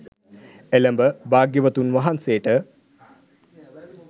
එළැඹ භාග්‍යවතුන් වහන්සේට